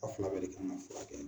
A' fila bɛɛ de kan na furakɛ